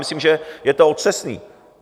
Myslím, že to je otřesné.